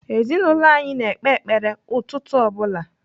Ezinaụlọ anyị na-ekpe ekpere ụtụtụ ọ bụla.